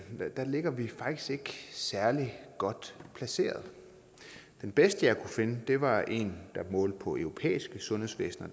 ligger vi faktisk ikke særlig godt placeret den bedste jeg kunne finde var en der målte på europæiske sundhedsvæsener